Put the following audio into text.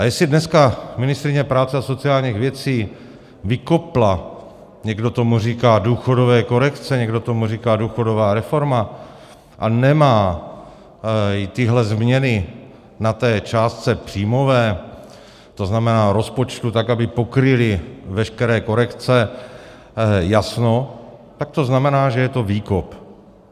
A jestli dneska ministryně práce a sociálních věcí vykopla, někdo tomu říká důchodové korekce, někdo tomu říká důchodová reforma, a nemají tyhle změny na té částce příjmové, to znamená rozpočtu, tak, aby pokryly veškeré korekce, jasno, tak to znamená, že je to výkop.